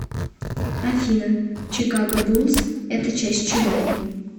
афина чикаго буллс это часть чего